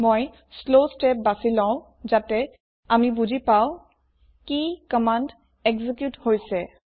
মই slow step বাছি লম যাতে আমি বুজি পাওঁ কি কম্মান্দ একজিউট হৈছে